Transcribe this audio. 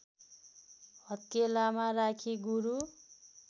हत्केलामा राखी गुरु